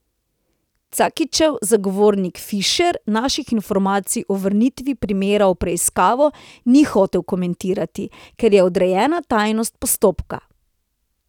Cakićev zagovornik Fišer naših informacij o vrnitvi primera v preiskavo ni hotel komentirati, ker je odrejena tajnost postopka.